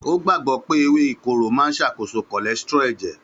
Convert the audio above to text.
Ó gbàgbọ́ pé ewé ìkorò máa ń ṣàkóso cholesterol ẹ̀jẹ̀.